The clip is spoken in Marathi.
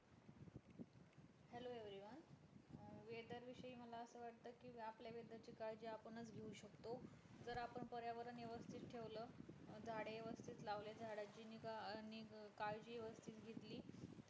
weather विषयी मला अस वाटत कि आपल्या weather ची काळजी आपण च घेऊ शकतो जर आपण पर्यावरण वेवस्थित ठेवलं झाडे वेवस्थित लावले झाडांची निघा आणि काळजी वेवस्थित घेतली